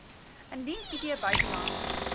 indien id buitelands